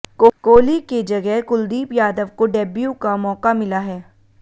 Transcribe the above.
कोहली के जगह कुलदीप यादव को डेब्यू का मौका मिला है